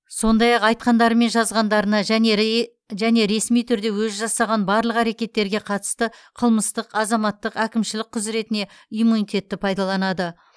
сондай ақ айтқандары мен жазғандарына және ресми түрде өзі жасаған барлық әрекеттерге қатысты қылмыстық азаматтық әкімшілік құзыретіне иммунитетті пайдаланады